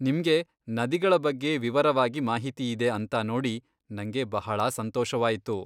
ನಿಮ್ಗೆ ನದಿಗಳ ಬಗ್ಗೆ ವಿವರವಾಗಿ ಮಾಹಿತಿಯಿದೆ ಅಂತಾ ನೋಡಿ ನಂಗೆ ಬಹಳಾ ಸಂತೋಷವಾಯ್ತು.